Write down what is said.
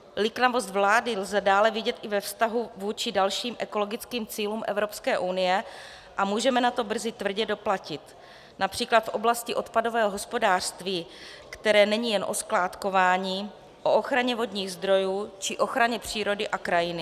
Liknavost vlády lze dále vidět i ve vztahu vůči dalším ekologickým cílům Evropské unie a můžeme na to brzy tvrdě doplatit, například v oblasti odpadového hospodářství, které není jen o skládkování, o ochraně vodních zdrojů či ochraně přírody a krajiny.